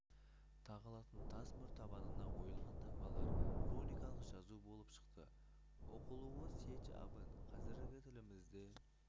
тағылатын тас мөр табанына ойылған таңбалар руникалық жазу болып шықты оқылуы сеч абын қазіргі тілімізде